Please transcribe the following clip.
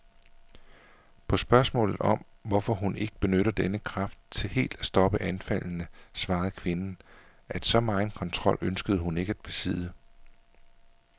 På spørgsmålet om, hvorfor hun ikke benytter denne kraft til helt at stoppe anfaldene, svarede kvinden, at så megen kontrol ønskede hun ikke at besidde.